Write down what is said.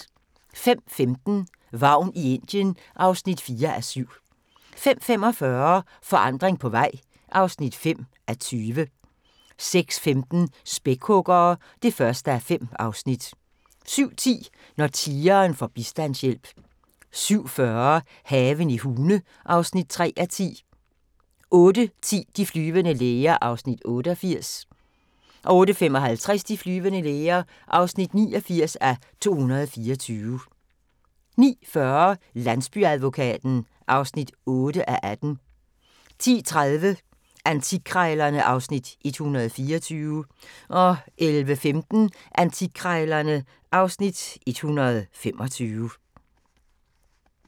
05:15: Vagn i Indien (4:7) 05:45: Forandring på vej (5:20) 06:15: Spækhuggere (1:5) 07:10: Når tigeren får bistandshjælp 07:40: Haven i Hune (3:10) 08:10: De flyvende læger (88:224) 08:55: De flyvende læger (89:224) 09:40: Landsbyadvokaten (8:18) 10:30: Antikkrejlerne (Afs. 124) 11:15: Antikkrejlerne (Afs. 125)